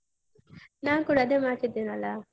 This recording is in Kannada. ನಾನ್ ಕೂಡ ಅದೇ ಮಾಡ್ತಿದೇನಲ್ಲ.